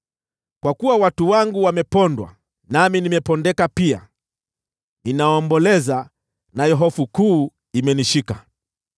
Kwa kuwa watu wangu wamepondwa, nami nimepondeka pia; ninaomboleza, nayo hofu kuu imenishika.